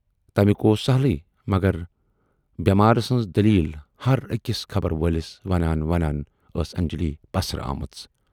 تمیُک اوس سہٕلے، مگر بٮ۪مارٕ سٕنز دٔلیٖل ہر ٲکِس خبرٕ وٲلِس وانان ونان ٲسۍ انجلی پسرٕ آمٕژ۔